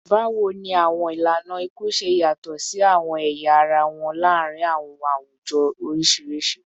Bawo ni awọn ilana iku ṣe yatọ ni awọn ẹya ara wọn laarin awọn awujọ oriṣiriṣi?